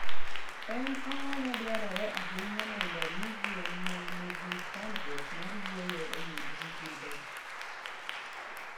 En ang'o madwarore ahinya mondo omi gwen ma nigi chandruok mar yueyo oyud rit maber?